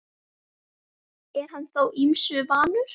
Er hann þó ýmsu vanur.